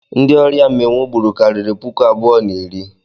Ndị ọrịa mmịnwụ gburu karịrị puku abụọ na iri.